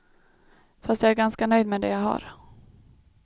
Fast jag är ganska nöjd med det jag har.